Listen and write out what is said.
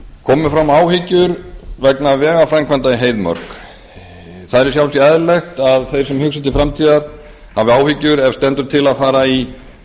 komu fram áhyggjur vegna vegaframkvæmda í heiðmörk það er í sjálfu sér eðlilegt að þeir sem hugsa til framtíðar hafi áhyggjur ef til stendur að fara í